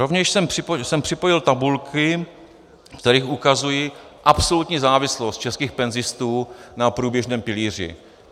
Rovněž jsem připojit tabulky, ve kterých ukazuji absolutní závislost českých penzistů na průběžném pilíři.